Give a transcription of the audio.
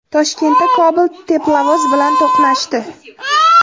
Toshkentda Cobalt teplovoz bilan to‘qnashdi.